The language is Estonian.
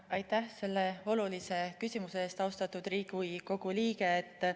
Aitäh selle olulise küsimuse eest, austatud Riigikogu liige!